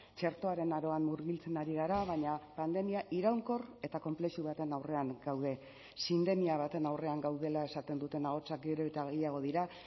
txertoaren aroan murgiltzen ari gara baina pandemia iraunkor eta konplexu baten aurrean gaude sindemia baten aurrean gaudela esaten duten ahotsak gero eta gehiago dira